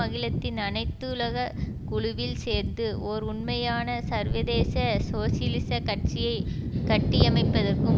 அகிலத்தின் அனைத்துலக குழுவில் சேர்ந்து ஒர் உண்மையான சர்வதேச சோசியலிச கட்சியை கட்டியமைப்பதற்கும்